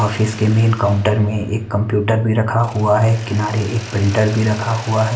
Office के main counter में एक कंप्यूटर भी रखा हुआ है किनारे एक प्रिंटर भी रखा हुआ है।